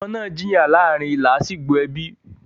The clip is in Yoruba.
ọmọ máa ń jìyà láàrin làásìgbò ẹbí.